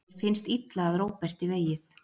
Mér finnst illa að Róberti vegið.